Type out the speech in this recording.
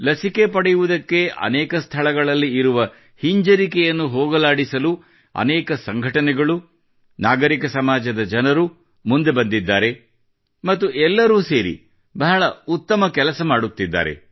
ಲಸಿಕೆ ಪಡೆಯುವುದಕ್ಕೆ ಅನೇಕ ಸ್ಥಳಗಳಲ್ಲಿ ಇರುವ ಹಿಂಜರಿಕೆಯನ್ನು ಹೋಗಲಾಡಿಸಲು ಅನೇಕ ಸಂಘಟನೆಗಳು ನಾಗರಿಕ ಸಮಾಜದ ಜನರು ಮುಂದೆ ಬಂದಿದ್ದಾರೆ ಮತ್ತು ಎಲ್ಲರೂ ಸೇರಿ ಬಹಳ ಉತ್ತಮ ಕಾರ್ಯ ಮಾಡುತ್ತಿದ್ದಾರೆ